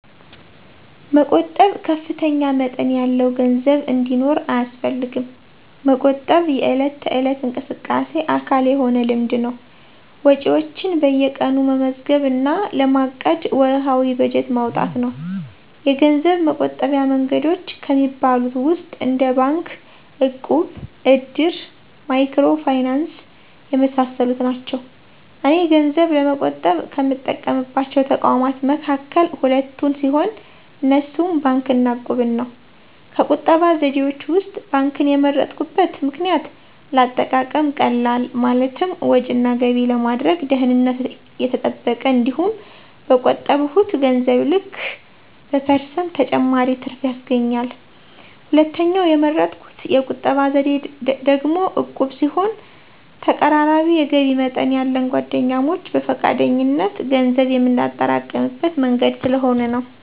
መቆጠብ ከፍተኛ መጠን ያለው ገንዘብ እንዲኖር አያስፈልግም። መቆጠብ የዕለት ተዕለት እንቅስቃሴ አካል የሆነ ልምድ ነው። ወጪዎችዎን በየቀኑ መመዝገብ እና ለማቀድ ወርሃዊ በጀት ማውጣት ነው። የገንዘብ መቆጠቢያ መንገዶች ከሚባሉት ውስጥ እንደ ባንክ፣ እቁብ፣ እድር፣ ማይክሮ ፋይናንስ የመሳሰሉት ናቸው። እኔ ገንዘብ ለመቆጠብ ከምጠቀምባቸው ተቋማት መካከል ሁለቱን ሲሆን፣ እነሱም ባንክ እና እቁብን ነው። ከቁጠባ ዘዴዎች ውስጥ ባንክን የመረጥኩበት ምክንያት ለአጠቃቀም ቀላል፣ ማለትም ወጭ እና ገቢ ለማድረግ፣ ደህንነቱ የተጠበቀ፣ እንዲሁም በቆጠብሁት ገንዘብ ልክ በፐርሰንት ተጨማሪ ትርፍ ያስገኛል። ሁለተኛው የመረጥሁት የቁጠባ ዘዴ ደግሞ ዕቁብ ሲሆን ተቀራራቢ የገቢ መጠን ያለን ጓደኛሞች በፈቃደኝነት ገንዘብ የምናጠራቅምበት መንገድ ስለሆነ ነው።